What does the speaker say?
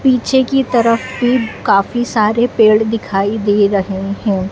पीछे की तरफ भी काफी सारे पेड़ दिखाई दे रहे हैं।